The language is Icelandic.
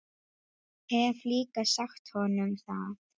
Hef líka sagt honum það.